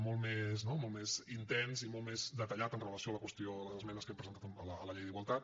molt més no molt més intens i molt més detallat amb relació a la qüestió de les esmenes que hem presentat a la llei d’igualtat